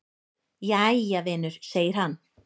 """Jæja, vinur segir hann."""